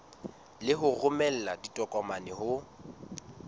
le ho romela ditokomane ho